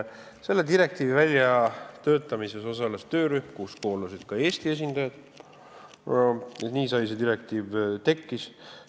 Selle direktiivi väljatöötamises osales töörühm, kuhu kuulusid ka Eesti esindajad, ja nii see direktiiv tekkis.